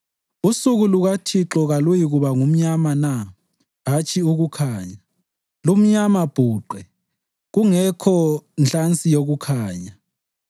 Usuku lukaThixo kaluyikuba ngumnyama na, hatshi ukukhanya, lumnyama bhuqe, kungekho nhlansi yokukhanya?